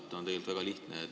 Põhjus on tegelikult väga lihtne.